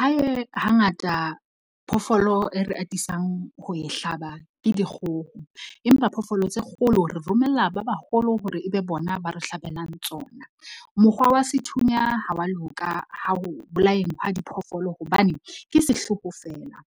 Hae hangata phoofolo e re atisang ho e hlaba ke dikgoho, empa phoofolo tse kgolo re romella ba baholo hore ebe bona ba re hlabelang tsona. Mokgwa wa sethunya ha wa loka ho bolayeng ha diphoofolo hobane ke sehloho feela.